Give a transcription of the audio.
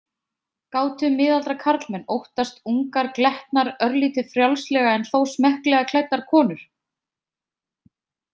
Gátu miðaldra karlmenn óttast ungar glettnar örlítið frjálslega en þó smekklega klæddar konur?